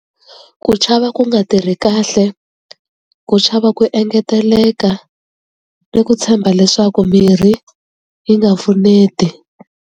Ku chava ku nga tirhi kahle ku chava ku engeteleka ni ku tshemba leswaku mirhi yi nga pfuneti.